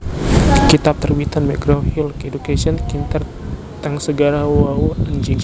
kitab terbitan McGraw Hill Education kintir teng segara wau enjing